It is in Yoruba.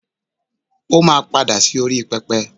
o ma pada sí orí pẹpẹ